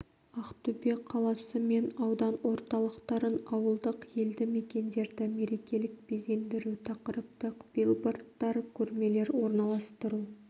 ақтөбе қаласы мен аудан орталықтарын ауылдық елді мекендерді мерекелік безендіру тақырыптық билбордтар көрмелер орналастыру